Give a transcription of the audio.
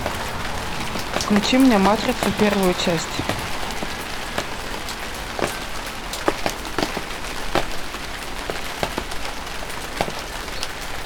включи мне матрицу первую часть